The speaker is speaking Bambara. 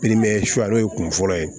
suya n'o ye kun fɔlɔ ye